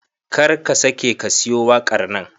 Kar ka sake ka siyo waƙar nan.